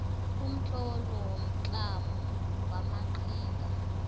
umtlolo womtlamo wamaqhinga